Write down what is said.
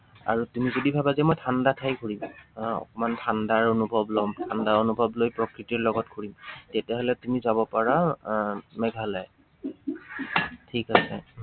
আৰু তুমি যদি ভাবা যে মই ঠাণ্ডা ঠাই ঘূৰিম। আহ অকনমান ঠাণ্ডাৰ অনুভৱ লম। ঠাণ্ডা অনুভৱ লৈ প্ৰকৃতিৰ লগত ঘুৰিম। তেতিয়া হলে তুমি যাব পাৰা আহ মেঘালয়। ঠিক আছে।